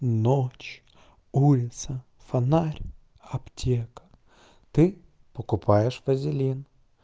ночь улица фонарь аптека ты покупаешь вазелин